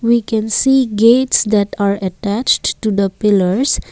we can see gates that are attached to the pillars.